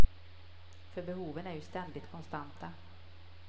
För behoven är ju ständigt konstanta.